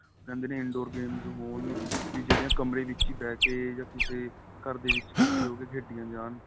ਉਹ ਕਹਿੰਦੇ in door games ਹੋਣ ਜਿਹੜੀਆਂ ਕਮਰੇ ਵਿੱਚ ਬਹਿ ਕੇ ਜਾਂ ਕਿਸੇ ਘਰ ਦੇ ਵਿੱਚ ਇੱਕਠੀਆਂ ਹੋਕੇ ਖੇਡੀਆਂ ਜਾਣ